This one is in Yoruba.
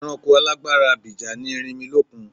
Ẹranko alágbára abìjà ni erinmilókun.